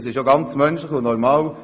Das ist auch menschlich und normal.